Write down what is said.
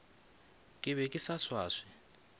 ke be ke sa swaswe